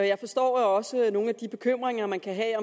jeg forstår også nogle af de bekymringer man kan have